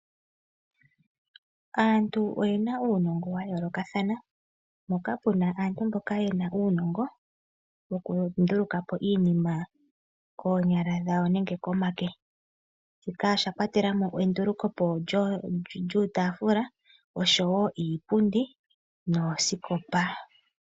Aantu oyena uunongo wa yolokathana. Moka pena aantu mboka yena uunogo woku ndulukapo iinima koonyala dhawo nenge komake. Shika osha kwatelamo endulukepo lyuutafula oshowo iipundi noosikopa.